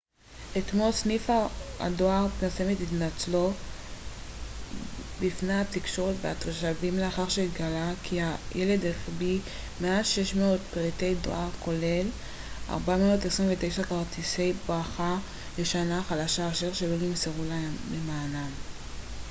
אתמול סניף הדואר פרסם את התנצלותו בפני התקשורת והתושבים לאחר שהתגלה כי הילד החביא מעל 600 פריטי דואר כולל 429 כרטיסי ברכה לשנה החדשה אשר לא נמסרו למענם